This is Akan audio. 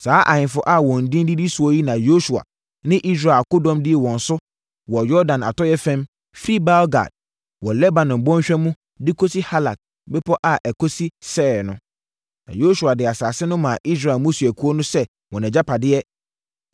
Saa ahemfo a wɔn din didi soɔ yi na Yosua ne Israel akodɔm dii wɔn so wɔ Yordan atɔeɛ fam firi Baal-Gad wɔ Lebanon bɔnhwa mu de kɔsi Halak bepɔ a ɛkɔsi Seir no. Na Yosua de asase no maa Israel mmusuakuo no sɛ wɔn agyapadeɛ,